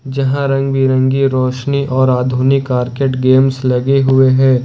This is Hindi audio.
जहां रंग बिरंगी रोशनी और आधुनिक आर्केड गेम्स लगे हुए हैं।